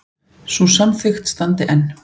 Sú samþykkt standi enn.